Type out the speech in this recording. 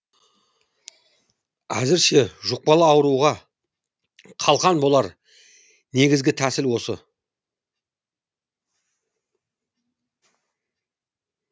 әзірше жұқпалы ауруға қалқан болар негізгі тәсіл осы